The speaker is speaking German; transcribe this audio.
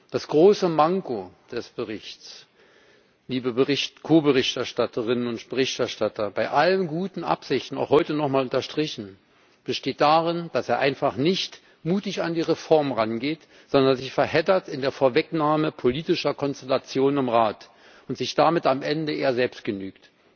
Das große Manko des Berichts, liebe Ko Berichterstatterinnen und Ko Berichterstatter, bei allen guten Absichten auch heute noch einmal unterstrichen besteht darin, dass er einfach nicht mutig an die Reform herangeht, sondern sich in der Vorwegnahme politischer Konstellationen im Rat verheddert und sich damit am Ende eher selbst genügt.